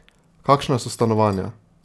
Kakšna so stanovanja?